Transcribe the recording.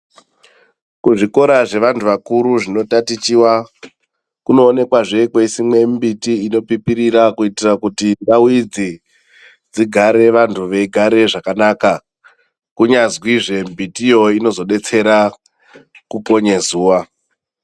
Kuzvikora zvevandu vakuru zvinotatichiwa kuonoonekwa zvee kweyisimwe mbiti inopipirira kuitira kuti ndawu idzi dzigare vandu veyigare zvakanaka kunyazwi zvee mbiti iyoo inozobetsera kuponye zuwa.